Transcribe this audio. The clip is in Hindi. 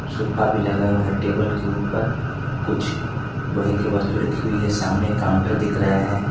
सोफा भी लगा हुआ है टेबल के ऊपर कुछ लोहे के वस्तु रखी हुई है सामने काउंटर दिख रहा है।